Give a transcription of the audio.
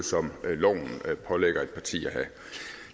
som loven pålægger et parti at have